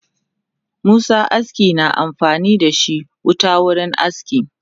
Masu aski na amfanidashi wuta wurin aski